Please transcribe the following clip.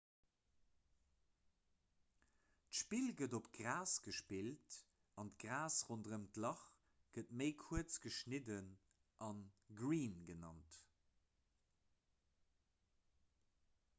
d'spill gëtt op gras gespillt an d'gras ronderëm d'lach gëtt méi kuerz geschnidden a green genannt